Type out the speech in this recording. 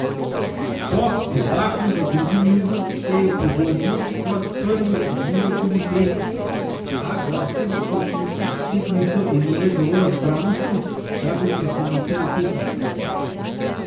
Po debaklu v drugem nizu se je podobno kot prvi odvijal tudi tretji, a gostje v končnici spet niso imele dovolj zbranosti, da bi presenetile tekmice.